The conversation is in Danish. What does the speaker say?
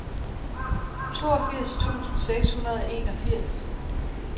toogfirs tusind seks hundrede og enogfirs